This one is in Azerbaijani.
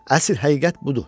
Əsl həqiqət budur.